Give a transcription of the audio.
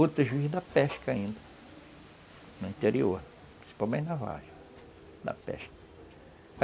Outros vivem da pesca ainda, no interior, principalmente da vargem, da pesca.